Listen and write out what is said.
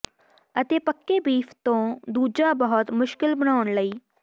ਅਤੇ ਪੱਕੇ ਬੀਫ ਤੋਂ ਦੂਜਾ ਬਹੁਤ ਮੁਸ਼ਕਿਲ ਬਣਾਉਣ ਲਈ